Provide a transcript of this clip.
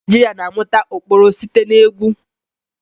Ụmụ Naijiria na-amụta ụkpụrụ site na egwu.